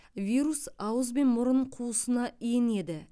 вирус ауыз бен мұрын қуысына енеді